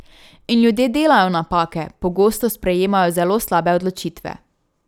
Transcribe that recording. In ljudje delajo napake, pogosto sprejemajo zelo slabe odločitve.